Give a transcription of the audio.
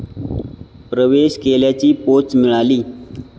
प्रवेश केल्याची पोच मिळाली